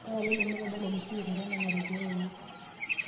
ore apa ilo netadale olmusiki ometanang'are keeya enye